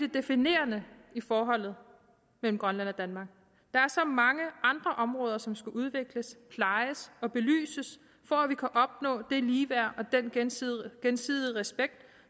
definerende i forholdet mellem grønland og danmark der er så mange andre områder som skal udvikles plejes og belyses for at vi kan opnå det ligeværd og den gensidige gensidige respekt